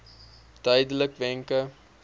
duidelikwenke